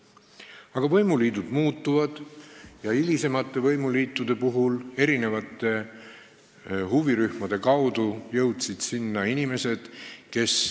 Aga võimuliidud muutuvad ja hilisemate võimuliitude ajal jõudsid erinevate huvirühmade kaudu sinna erinevad inimesed.